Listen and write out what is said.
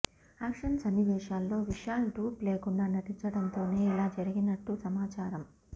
action సన్నివేశాల్లో Vishal dupe లేకుండా నటించడంతోనే ఇలా జరిగినట్లు సమాచారం